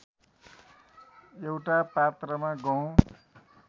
एउटा पात्रमा गहुँ